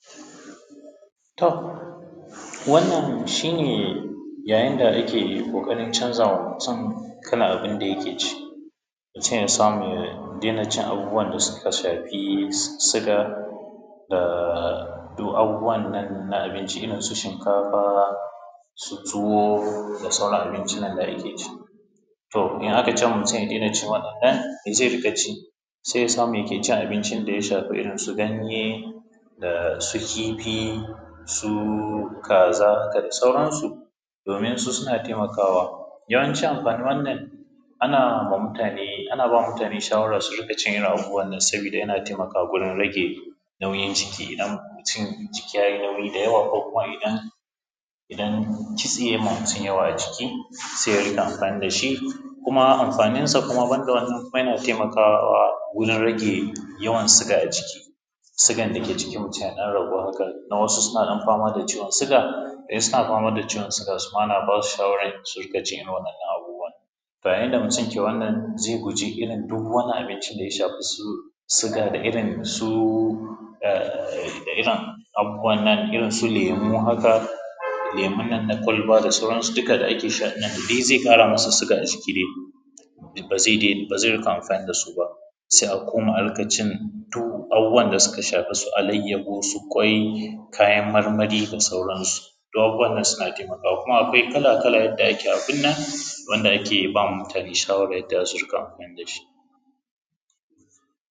Toh wannan shi ne ya yin da ake ƙoƙarin canzawa mutum kalan abinda yake ci. Mutum ya samu ya dena cin abubuwan da suka shafi suga da duk abubuwan nan na abinci irin su shinkafa ,su tuwo da sauran abinci nan da ake ci. To in aka mutum ya dena cin wadannan me zai riƙa ci? Sai ya samu meke cin abincin daya shafi irin su ganye da su kifi su kaza haka da sauransu domin su suna taimakawa. Yawancin amfanin wannan anama mutane, ana ba mutane shawara su rinƙa cin irin abubuwan nan saboda yana taimaka wajen rage nauyin jiki, idan mutum jiki ya yi nauyi da yawa ko kuma idan kitse yema mutum yawa a jiki sai ya rinka amfani dashi, kuma amfaninsa kuma banda wannan yana taimakawa wurin rage yawan suga a jiki, sigan dake jikin mutum ya ɗan ragu hakan don wasu suna dan fama da ciwon suga, idan suna fama da ciwon suga suma ana basu shawaran su rinƙa cin irin wa’innan abubuwan. To ya yin da mutum ke wannan zai guji irin duk wani abincin daya shafi irin su suga da irin su ehh, irin su lemo haka, lemun nan na kwalba da sauransu duka da ake sha da dai ze ƙara musu suga a jiki dai, ba zai rika amfani dasu ba, sai a koma rinƙa cin duhu, abubuwan da suka shafi su alaiyahu su kwai, kayan marmari da sauransu, duk abubuwan nan suna taimakawa. Kuma akwai kala kala yadda ake abun nan wanda ake ba mutane shawara yadda za su riƙa amfani dashi.